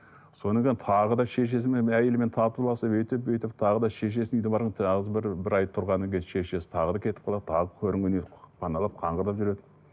содан кейін тағы да шешесімен әйелімен татуласып өйтіп бүйтіп тағы да шешесінің тағы бір бір ай тұрғаннан кейін шешесін тағы да кетіп қалады тағы паналап қаңғырып жүреді